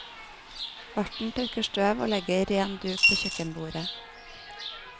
Verten tørker støv og legger ren duk på kjøkkenbordet.